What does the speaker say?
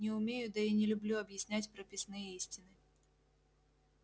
не умею да и не люблю объяснять прописные истины